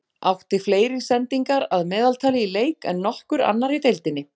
Átti fleiri sendingar að meðaltali í leik en nokkur annar í deildinni.